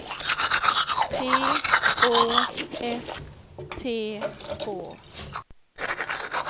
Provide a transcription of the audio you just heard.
P Å S T Å